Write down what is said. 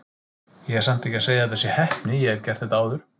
Ég er samt ekki að segja að þetta sé heppni, ég hef gert þetta áður.